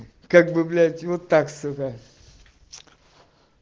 как бы блять вот так сказать